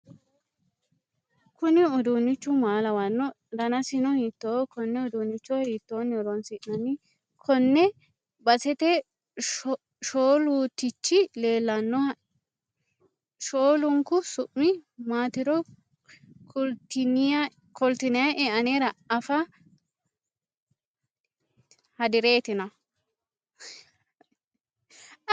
Kuni uduunichu maa lawanno? Danasino hiittoho?+ Konne uduunnicho hiittoni horonsi'nanni? Konne basete shoolutichi leellanoha shoolunku su'mi maatiro kultinayie anera afa hadireetina?